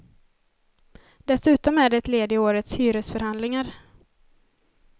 Dessutom är det ett led i årets hyresförhandlingar.